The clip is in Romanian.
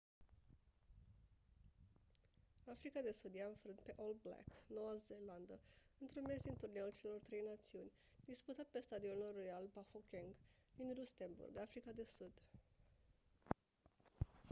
africa de sud i-a înfrânt pe all blacks noua zeelandă într-un meci din turneul celor trei națiuni disputat pe stadionul royal bafokeng din rustenburg africa de sud